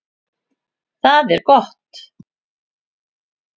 Það er gott